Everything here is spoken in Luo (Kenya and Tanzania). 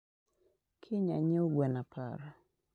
kiny anyiew gwen apar